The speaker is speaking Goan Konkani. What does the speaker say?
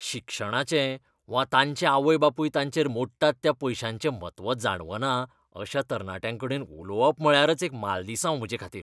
शिक्षणाचें वा तांचे आवय बापूय तांचेर मोडटात त्या पयशांचें म्हत्व जाणवना अशा तरणाट्यांकडेन उलोवप म्हळ्यारच एक मालदिसांव म्हजेखातीर.